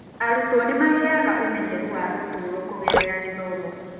Arutwo nĩ magĩaga na ũmenyeru wa ũtũũro kũgerera gĩthomo.